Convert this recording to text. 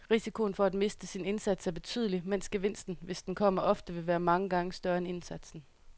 Risikoen for at miste sin indsats er betydelig, mens gevinsten, hvis den kommer, ofte vil være mange gange større end indsatsen.